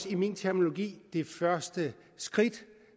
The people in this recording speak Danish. i min terminologi det første skridt